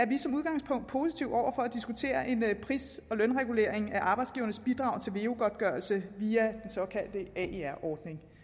vi som udgangspunkt positive over for at diskutere en pris og lønregulering af arbejdsgivernes bidrag til veu godtgørelse via den såkaldte aer ordning